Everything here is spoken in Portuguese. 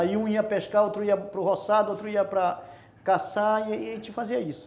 Aí um ia pescar, outro ia para o roçado, outro ia para caçar e a gente fazia isso.